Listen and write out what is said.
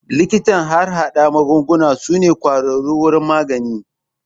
Likitan harhaɗa magunguna su ne kwararru wurin magani